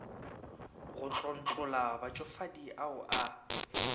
go tlontlolla batšofadi ao a